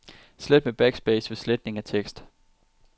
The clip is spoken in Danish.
Slet med backspace ved sletning af tekst.